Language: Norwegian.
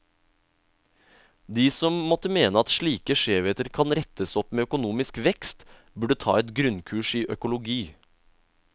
De som måtte mene at slike skjevheter kan rettes opp med økonomisk vekst, burde ta et grunnkurs i økologi.